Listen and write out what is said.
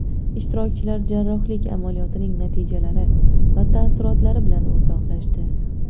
Ishtirokchilar jarrohlik amaliyotining natijalari va taassurotlari bilan o‘rtoqlashdi.